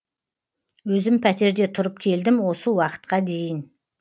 өзім пәтерде тұрып келдім осы уақытқа дейін